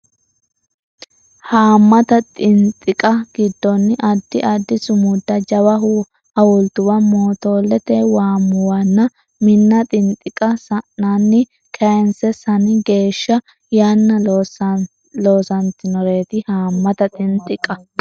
Haammata xinxiqqa giddonni addi addi sumudda jawa hawultuwa mootoollete waammuwanna minna xinxiqqa saninni kayisse sani geeshsha yanna loosantinoreeti Haammata xinxiqqa.